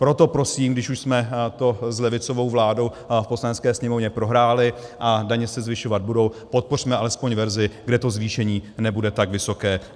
Proto prosím, když už jsme to s levicovou vládou v Poslanecké sněmovně prohráli a daně se zvyšovat budou, podpořme alespoň verzi, kde to zvýšení nebude tak vysoké.